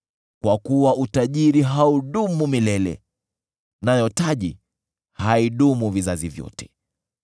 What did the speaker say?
Kwa kuwa utajiri haudumu milele, nayo taji haidumu vizazi vyote.